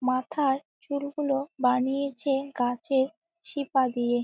মাথার চুলগুলো বানিয়েছে গাছের শিকড় দিয়ে।